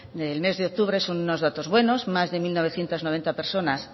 del mes de octubre son unos datos buenos más de mil novecientos noventa personas